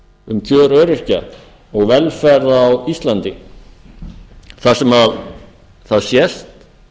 um kjör öryrkja og velferð á íslandi þar sem það sést